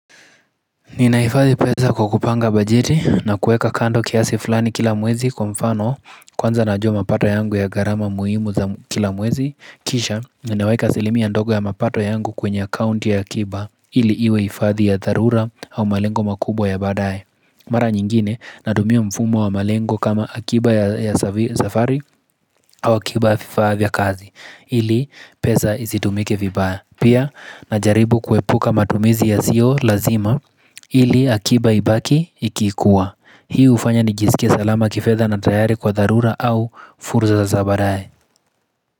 Ninahifadhi pesa kwa kupanga bajeti na kuweka kando kiasi fulani kila mwezi kwa mfano kwanza najua mapato yangu ya gharama muhimu za kila mwezi, kisha ninaweka asilimia ndogo ya mapato yangu kwenye akaunti ya akiba ili iwe hifadhi ya dharura au malengo makubwa ya baadaye. Mara nyingine natumia mfumo wa malengo kama akiba ya safari au akiba ya vifaa vya kazi ili pesa isitumike vibaya. Pia najaribu kuepuka matumizi yasio lazima ili akiba ibaki ikikuwa. Hii hufanya ni jiskie salama kifedha na tayari kwa dharura au fursa za baadaye.